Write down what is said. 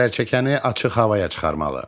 Zərərçəkəni açıq havaya çıxarmalı.